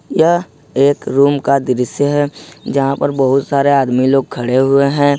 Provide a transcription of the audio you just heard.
यह एक रूम का दृश्य है जहां पर बहुत सारे आदमी लोग खड़े हुए हैं।